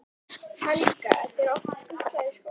Helga: Er þér oft skutlað í skólann?